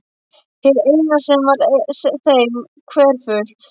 Hið eina sem var þeim hverfult.